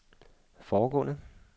foregående